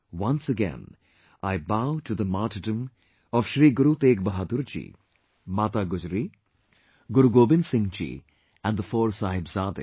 Once again I bow to the martyrdom of Shri Guru Tegh Bahadur ji, Mata Gujari, Guru Gobind Singhji and the four Sahibzade